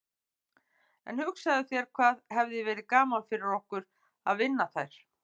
En hugsaðu þér hvað hefði verið gaman fyrir okkur að vinna þær.